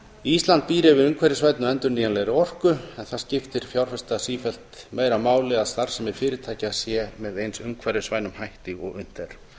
ísland býr yfir umhverfisvænni og endurnýjanlegri orku en það skiptir fjárfesta sífellt meira máli að starfsemi fyrirtækja sé með eins umhverfisvænum hætti og unnt er þá